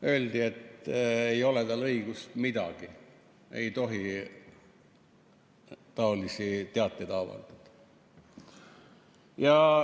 Öeldi, et ei ole tal õigus midagi, ei tohi taolisi teateid avaldada.